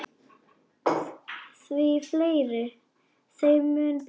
Því fleiri, þeim mun betra.